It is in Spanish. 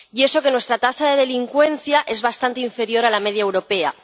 Y eso que nuestra tasa de delincuencia es bastante inferior a la media europea.